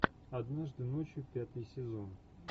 однажды ночью пятый сезон